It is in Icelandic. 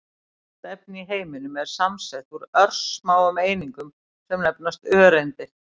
Allt efni í heiminum er samsett úr örsmáum einingum sem nefnast öreindir.